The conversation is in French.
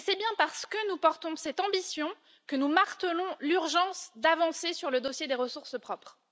C'est bien parce que nous portons cette ambition que nous martelons l'urgence de faire avancer le dossier des ressources propres.